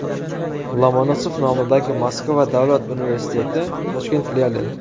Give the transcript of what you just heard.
Lomonosov nomidagi Moskva Davlat universiteti Toshkent filiali.